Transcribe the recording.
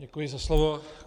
Děkuji za slovo.